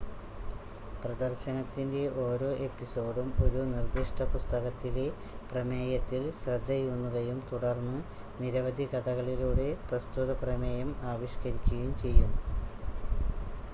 പ്രദർശനത്തിൻ്റെ ഓരോ എപ്പിസോഡും ഒരു നിർദ്ദിഷ്ട പുസ്തകത്തിലെ പ്രമേയത്തിൽ ശ്രദ്ധയൂന്നുകയും തുടർന്ന് നിരവധി കഥകളിലൂടെ പ്രസ്തുത പ്രമേയം ആവിഷ്ക്കരിക്കുകയും ചെയ്യും